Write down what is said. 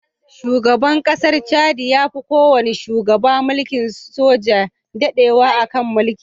Shugaban ƙasar Chadi ya fi kowane shugaba na mulkin soji dadewa a kan mulki.